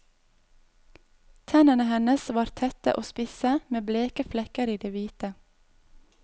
Tennene hennes var tette og spisse med bleke flekker i det hvite.